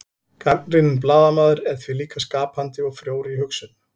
gagnrýninn blaðamaður er því líka skapandi og frjór í hugsun